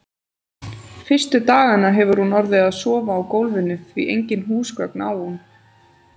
Fyrstu dagana hefur hún orðið að sofa á gólfinu, því engin húsgögn á hún.